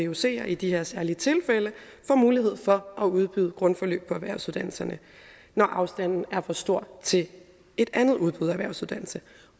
vucer i de her særlige tilfælde får mulighed for at udbyde grundforløb på erhvervsuddannelserne når afstanden er for stor til et andet udbud af erhvervsuddannelse